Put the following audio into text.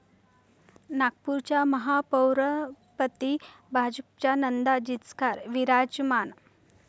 नागपूरच्या महापौरपदी भाजपच्या नंदा जिचकार विराजमान